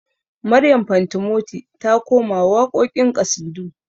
Maryam fantimoti ta koma waƙoƙin ƙasidu